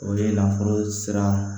O ye nafolo sira